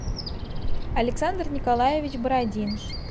александр николаевич бородин